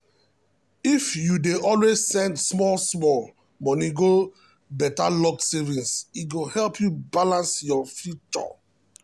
if you dey always send small small money go better locked savings e go help you balance for future.